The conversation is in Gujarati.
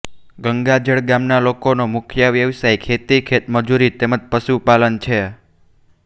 ગંગાજળ ગામના લોકોનો મુખ્ય વ્યવસાય ખેતી ખેતમજૂરી તેમ જ પશુપાલન છે